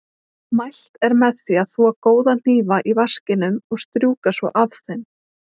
Mælt er með því að þvo góða hnífa í vaskinum og strjúka svo af þeim.